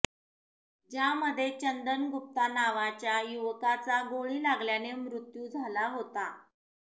ज्यामध्ये चंदन गुप्ता नावाच्या युवकाचा गोळी लागल्याने मृत्यू झाला होता